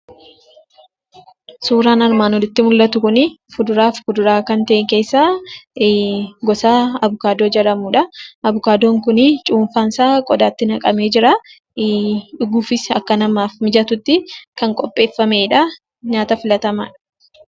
Suuraan armaan oliitti mul'atu kun, fuduraa fi muduraa kan ta'e keessa gosa Abukaadoo jedhamuudha. Abukaadoon kun cuunfaa qodaatti naqamee jira. Dhuguufis akka namaaf mijatutti kan qopheeffameedha.